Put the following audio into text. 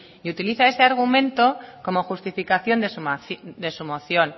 y utiliza ese argumento como justificación de su moción